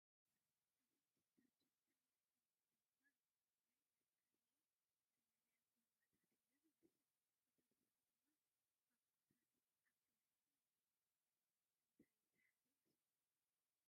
እዚ ዲተርጀንት ወይ ድማ ናይ መፃራረይ ዝመልኣ ጎማታት እዩ ዝመስል ፡ ብተወሳኺ ድማ ባኮታት ኣብቲ ውሽጢ እንሄ እንታይ ዝሓዘ ይመስለኩም ?